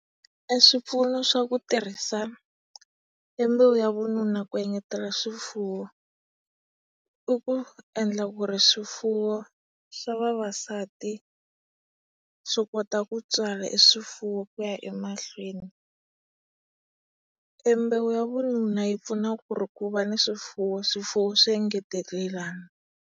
E swipfuno swa ku tirhisa e mbewu ya vununa ku engetela swifuwo, i ku endla ku ri swifuwo swa vavasati swi kota ku tswala e swifuwo kuya emahlweni. E mbewu ya vununa yi pfuna ku ri ku va ni swifuwo swifuwo swi engetelelana.